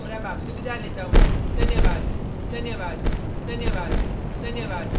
यह स्क्रिप्ट प्रभाकर द्वारा अनुवादित है मैं यश वोरा आपसे विदा लेता हूँ धन्यवाद